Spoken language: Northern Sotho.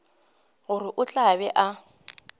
gore o tla be a